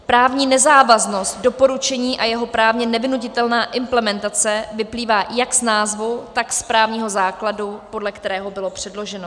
Právní nezávaznost doporučení a jeho právně nevynutitelná implementace vyplývá jak z názvu, tak z právního základu, podle kterého bylo předloženo.